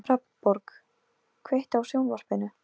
Ég kreppi hnefann og lem í vegginn.